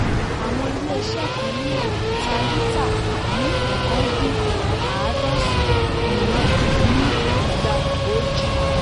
àwọn ilé-iṣẹ́ kan ní èkó tà líta ní ọ̀kan dín àádọ́sán míìràn ní igba ọjì.